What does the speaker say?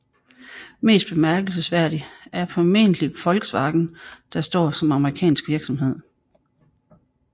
Mest bemærkelsesværdig er formentlig Volkswagen der står som amerikansk virksomhed